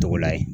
Tɔgɔla ye